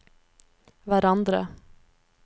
hverandre